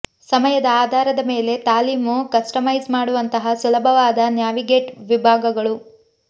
ಸಮಯದ ಆಧಾರದ ಮೇಲೆ ತಾಲೀಮು ಕಸ್ಟಮೈಸ್ ಮಾಡುವಂತಹ ಸುಲಭವಾದ ನ್ಯಾವಿಗೇಟ್ ವಿಭಾಗಗಳು